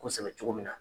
Kosɛbɛ cogo min na